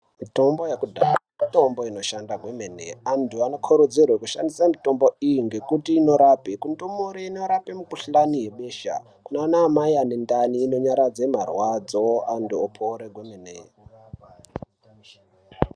Mitombo yekudhaya, mitombo inoshanda kwemene, anthu anokurudzirwa kushandisa mitombo iyi ngekuti inorapa. Kundumure inorapa mikhuhlani yebesha, kunana mai ane ndani inonyaradze marwadzo, anthu opora kwemene.